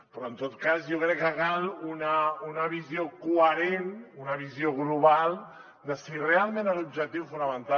però en tot cas jo crec que cal una visió coherent una visió global de si realment l’objectiu fonamental